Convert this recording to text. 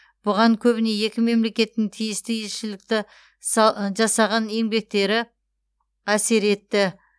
бұған көбіне екі мемлекеттің тиісті елшілікті са жасаған еңбектері әсер етті